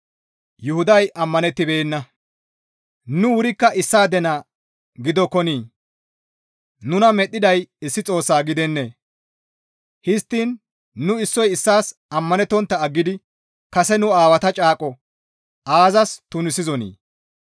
Nu wurikka issaade naa gidokkonii? Nuna medhdhiday issi Xoossa gidennee? Histtiin nu issoy issaas ammanettontta aggidi kase nu aawata caaqo aazas tunisizonii?